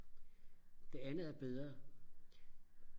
det andet er bedre